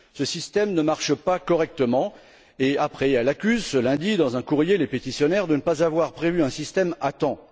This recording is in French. Ce système ne marche pas correctement et ensuite elle accuse, ce lundi, dans un courrier les pétitionnaires de ne pas avoir prévu un système à temps.